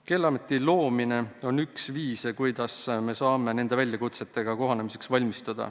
Keeleameti loomine on üks samm, et valmistuda nendele väljakutsetele vastamiseks.